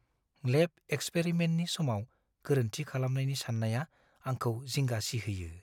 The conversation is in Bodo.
लेब एक्सपेरिमेन्टनि समाव गोरोन्थि खालामनायनि सान्नाया आंखौ जिंगा सिहोयो।